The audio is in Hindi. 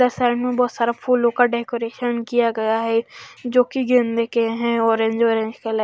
बोहोत सारा फूलो का डेकोरेशन किया गया है जो की गेंदे के है ऑरेंज ऑरेंज कलर --